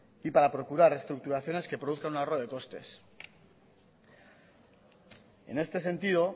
y para procurar reestructuraciones que produzcan un ahorro de costes en este sentido